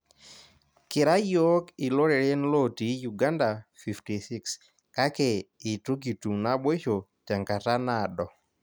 Kira yiok iloreren lotii Uganda 56 kake itu kitum naboisho tenkata naado